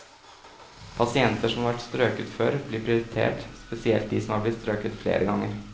Pasienter som har vært strøket før, blir prioritert, spesielt de som er blitt strøket flere ganger.